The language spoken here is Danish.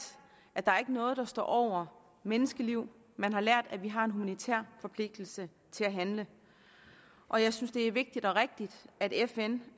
at der ikke er noget der står over menneskeliv man har lært at vi har en militær forpligtelse til at handle og jeg synes det er vigtigt og rigtigt at fn